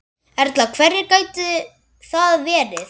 Erla: Hverjir gætu það verið?